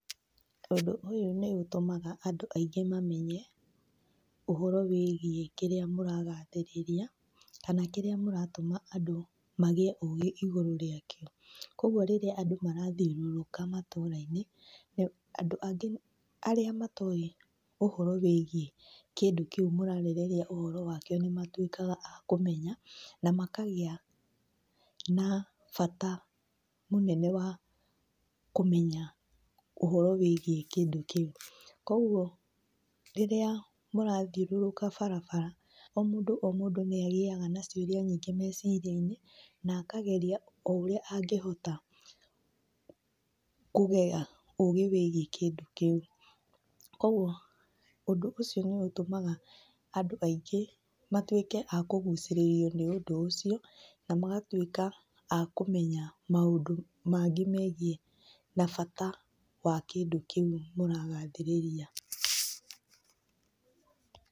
Ũndũ ũyũ nĩ ũtũmaga andũ aingĩ mamenye ũhoro wĩgiĩ kĩrĩa mũragathĩrĩria, kana kĩrĩa mũratũma andũ magĩe ũgĩ igũrũ rĩake. Koguo rĩrĩra andũ marathiũrũrũka matũrainĩ, andũ angĩ arĩa matoĩ ũhoro wĩgiĩ kĩndũ kĩũ mũrarĩrĩria ũhoro wakĩo nĩ matuĩkaga akũmenya na makagĩa na bata mũnene wa kũmenya ũhoro wĩgiĩ kĩndũ kĩũ. Koguo rĩrĩa mũrathiũrũrũka barabara o mũndũ o mũndũ nĩ agĩaga na ciũrĩa nyingĩ mecirĩainĩ na akageria o ũrĩa angĩhota kũgĩa ũgĩ wĩgiĩ kĩndũ kĩũ. Koguo ũndũ ũcio noũtũmaga andũ aingĩ matuĩke akũgũcĩrĩrio nĩ ũndũ ũcio na magatuĩka akũmenya maũndũ mangĩ megiĩ na bata wa kĩndũ kĩu ũragathĩrĩria.